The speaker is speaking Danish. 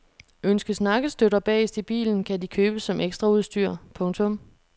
Ønskes nakkestøtter bagest i bilen kan de købes som ekstraudstyr. punktum